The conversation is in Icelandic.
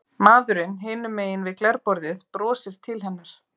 Maðurinn hinum megin við glerborðið brosir til hennar.